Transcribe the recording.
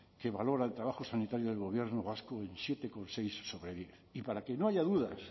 que valora el trabajo sanitario del gobierno vasco en siete coma seis sobre diez y para que no haya dudas